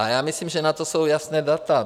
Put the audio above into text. A já myslím, že na to jsou jasná data.